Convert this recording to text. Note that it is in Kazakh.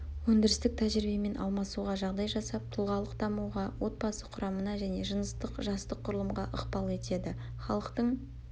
өндірістік тәжірибемен алмасуға жағдай жасап тұлғалық дамуға отбасы құрамына және жыныстық-жастық құрылымға ықпал етеді халықтың